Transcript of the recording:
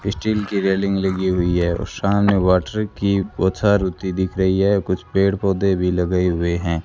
Steel कि railing लगी हुई हैं और सामने वॉटर कि बौछार होती दिख रही हैं कुछ पेड़ पौधे भी लगे हुए हैं।